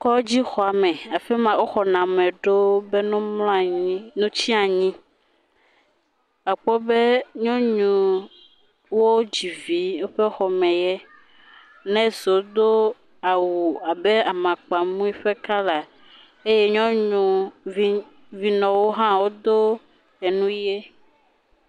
Kɔdzixɔme afi ma woxɔna ame ɖo be woamlɔ anyi no tsi anyi, akpɔ be nyɔnuwo dzi vi woãe xɔme ye, nɔsiwo do awu abe amakpamui ƒe kɔla eye vinɔwo hã wodo enu ʋe.